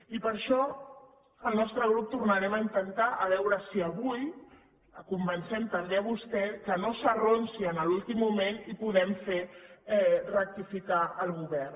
i per això el nostre grup tornarem a intentar a veure si avui la convencem també a vostè que no s’arronsi en l’últim moment i podem fer rectificar el govern